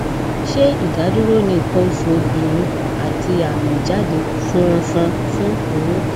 se idaduro ni ikan osu obinrin ati ami ijade funfun fun oyun